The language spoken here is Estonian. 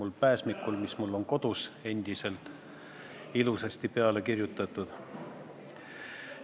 See on pääsmikule, mis mul endiselt kodus on, ilusasti peale kirjutatud.